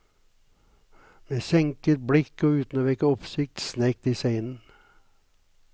Med senket blikk og uten å vekke oppsikt snek de seg inn.